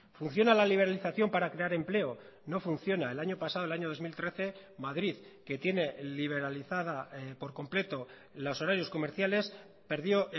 funciona la liberalización para crear empleo no funciona el año pasado el año dos mil trece madrid que tiene liberalizada por completo los horarios comerciales perdió